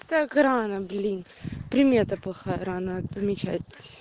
так рано блин примета плохая рано отмечать